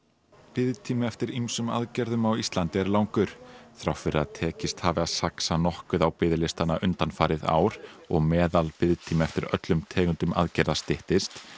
biðtími eftir ýmsum aðgerðum á Íslandi er langur þrátt fyrir að tekist hafi að saxa nokkuð á biðlistana undanfarið ár og meðalbiðtími eftir öllum tegundum aðgerða styttist